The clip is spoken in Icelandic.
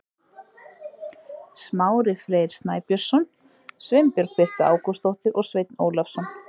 Smári Freyr Snæbjörnsson, Sveinbjörg Birta Ágústsdóttir og Sveinn Ólafsson.